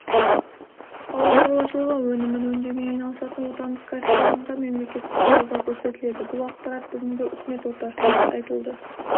ауыл шаруашылығы өнімін өңдеумен айналысатын отандық кәсіпорынға мемлекеттік қолдау көрсетіледі бұл ақпарат бүгінгі үкімет отырысында айтылды